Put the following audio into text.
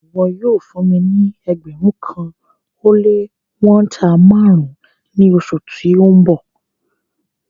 Ìwọ̀ yóò fún mí ní ẹgbérùn kan o le wọ̀nta màrùn ni oṣù tí n bọ